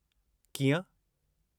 कीअं ?